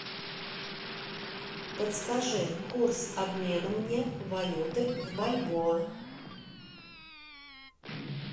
подскажи курс обмена мне валюты в бальбоа